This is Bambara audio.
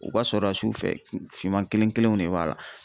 U ka sɔrɔla sufɛ finman kelen kelenw de b'a la.